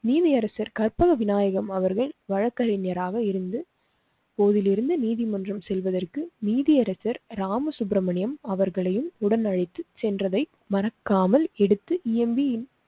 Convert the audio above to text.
நீதியரசர் கற்பக விநாயகம் அவர்கள் வழக்கறிஞராக இருந்து கோவிலிருந்து நீதிமன்றம் செல்வதற்கு நீதியரசர் ராம சுப்ரமணியன் அவர்களையும் உடன் அழைத்து சென்றதை மறக்காமல் எடுத்து இயம்பி